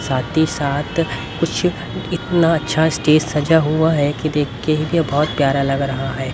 साथ ही साथ कुछ इतना अच्छा स्टेज सजा हुआ है कि देख के ही ये बहोत प्यारा लग रहा है।